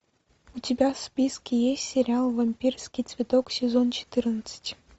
у тебя в списке есть сериал вампирский цветок сезон четырнадцать